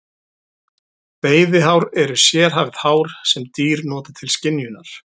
Veiðihár eru sérhæfð hár sem dýr nota til skynjunar.